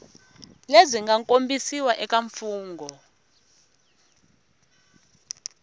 lebyi nga kombisiwa eka mfungho